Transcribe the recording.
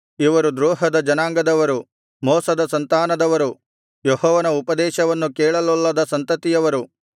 ಇವರು ದ್ರೋಹದ ಜನಾಂಗದವರು ಮೋಸದ ಸಂತಾನದವರು ಯೆಹೋವನ ಉಪದೇಶವನ್ನು ಕೇಳಲೊಲ್ಲದ ಸಂತತಿಯವರು